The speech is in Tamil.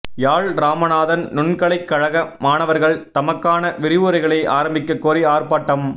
யாழ் இராமநாதன் நுண்கலைக் கழக மாணவர்கள் தமக்கான விரிவுரைகளை ஆரம்பிக்க கோரி ஆர்ப்பாட்டம்